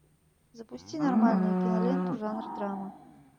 запусти нормальную киноленту жанр драма